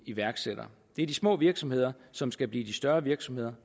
iværksættere det er de små virksomheder som skal blive de større virksomheder